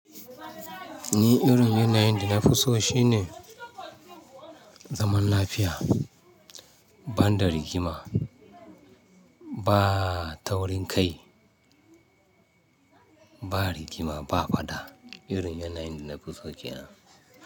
Ni irin yanayin da na fi so shine zaman lafiya, ban da rigima, ba taurinkai, ba rigima, ba fada. Irin yanayin da na fi so ke nan.